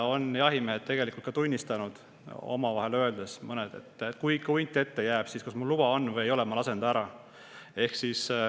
Mõned jahimehed on tegelikult tunnistanud, omavahel öelnud, et kui hunt ikka ette jääb, siis ma lasen ta maha, on mul luba või ei ole.